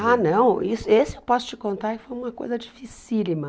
Ah, não, isso esse eu posso te contar, foi uma coisa dificílima.